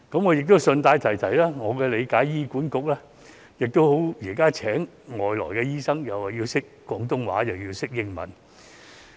我亦順帶一提，以我所知，現時醫管局聘請海外醫生時，要求對方懂廣東話和英文。